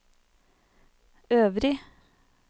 øvrig